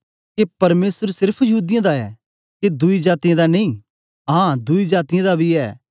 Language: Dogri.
के परमेसर सेर्फ यहूदीयें दा गै ऐ के दुई जातीयें दा नेई आं दुई जातीयें दा बी ऐ